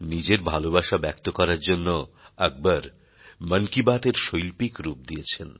নিজের ভালোবাসা ব্যক্ত করার জন্য আকবর মন কি বাত এর শৈল্পিক রূপ দিয়েছেন